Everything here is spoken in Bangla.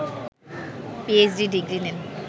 পিএইচডি ডিগ্রি নেন